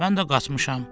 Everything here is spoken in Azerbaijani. Mən də qaçmışam.